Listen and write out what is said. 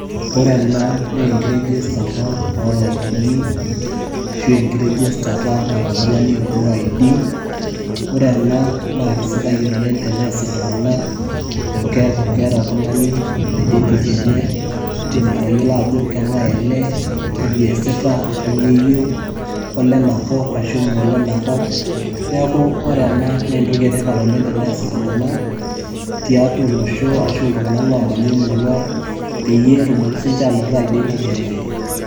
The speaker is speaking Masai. ore ena naa ikitigisata oo lainini ,ashu ene ID , naa kisidai oleng' tenes iltung'anak amu keeku keeta oltung'ani identity enye udim atayiolo ajo keng'ae ele , kaji esita kanyoo eyieu kolenakop ashu me ole nakop neeku kesidai ena oleng'.